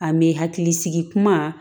A me hakili sigi kuma